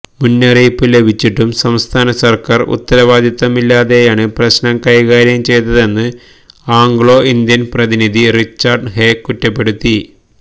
മുന്നറിയിപ്പ് ലഭിച്ചിട്ടും സംസ്ഥാന സര്ക്കാര് ഉത്തരവാദിത്തമില്ലാതെയാണ് പ്രശ്നം കൈകാര്യം ചെയ്തതെന്ന് ആംഗ്ലോ ഇന്ത്യന് പ്രതിനിധി റിച്ചാര്ഡ് ഹേ കുറ്റപ്പെടുത്തി